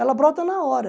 Ela brota na hora.